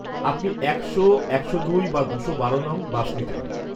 আপনি একশো, একশো দুই, বা দুশো বারো নং. বাস নিতে পারেন।